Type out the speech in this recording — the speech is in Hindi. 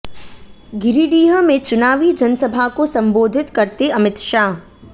गिरिडीह में चुनावी जनसभा को संबोधित करते अमित शाह